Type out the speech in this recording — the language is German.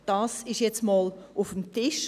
», das ist jetzt einmal auf dem Tisch.